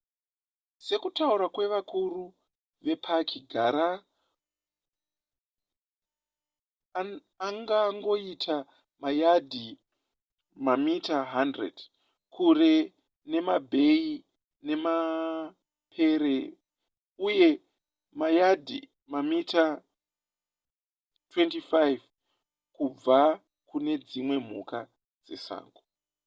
sekutaura kwevakuru vepaki gara angangoita mayadhi/mamita 100 kure nemabheya nemapere uye mayadhi/mamita 25 kubva kunedzimwe mhuka dzesango!